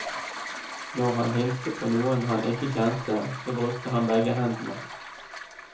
Når han hilste på noen han ikke kjente, så brukte han begge hendene.